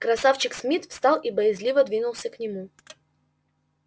красавчик смит встал и боязливо двинулся к нему